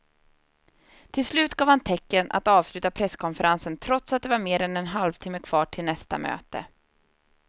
Till slut gav han tecken att avsluta presskonferensen trots att det var mer än en halvtimme kvar till nästa möte.